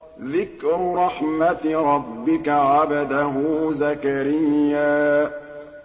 ذِكْرُ رَحْمَتِ رَبِّكَ عَبْدَهُ زَكَرِيَّا